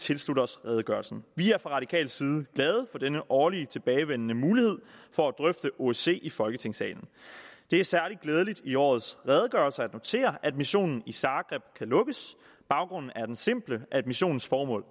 tilslutter os redegørelsen vi er fra radikal side glade for denne årligt tilbagevendende mulighed for at drøfte osce i folketingssalen det er særlig glædeligt i årets redegørelse at notere at missionen i zagreb kan lukkes baggrunden er den simple at missionens formål